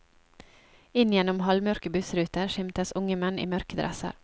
Inn gjennom halvmørke bussruter skimtes unge menn i mørke dresser.